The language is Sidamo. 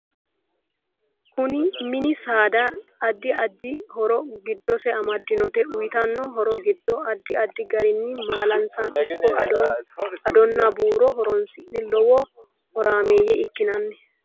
MIni saada addi addi horo giddose amadinote uyiitanno horo giddo addi addi gariini maalansa ikko addono buurono horoonsine lowo horaameeye ikkinani